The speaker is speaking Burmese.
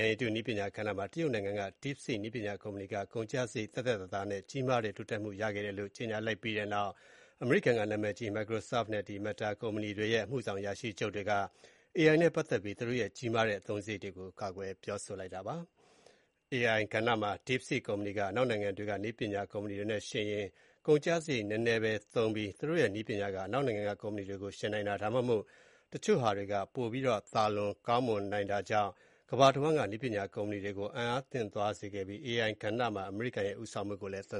ဏ်ရည်တုနည်းပညာကဏ္ဍမှာ တရုတ်နိုင်ငံက Deepseek နည်းပညာကုမ္ပဏီက ကုန်ကျစရိတ် သက်သက်သာသာနဲ့ ကြီးမားတဲ့တိုးတက်မှုရရှိခဲ့တယ်လို့ ကြေညာလိုက်ပြီးတဲ့နောက် အမေရိကန်က နာမည်ကြီး Microsoft နဲ့ Meta ကုမ္ပဏီတွေရဲ့ အမှုဆောင်အရာရှိချုပ်တွေက AI နဲ့ ပတ်သက်ပြီး သူတို့ရဲ့ ကြီးမားတဲ့အသုံးစရိတ်တွေကို ကာကွယ်ပြောဆိုလိုက်ပါတယ်။ AI ကဏ္ဍမှာ Deepseek ကုမ္ပဏီက အနောက်နိုင်ငံတွေက နည်းပညာကုမ္ပဏီတွေနဲ့ယှဉ်ရင် ကုန်ကျ စရိတ်နည်းနည်းပဲသုံးပြီး သူတို့ရဲ့ နည်းပညာက အနောက်နိုင်ငံကကုမ္ပဏီတွေကို ယှဉ်နိုင်တာ ဒါမှမဟုတ် တချို့ဟာတွေမှာ ပိုပြီးတော့ သာလွန်ကောင်းမွန်နိုင်တာကြောင့် ကမ္ဘာတဝန်းက နည်းပညာကုမ္ပဏီတွေ ကို အံ့အားသင့်သွားစေခဲ့ပြီး AI ကဏ္ဍမှာ အမေရိကန်ရဲ့ ဦးဆောင်မှုကိုလည်း သံ